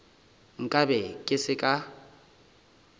nka be ke se ka